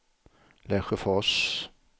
Lesjöfors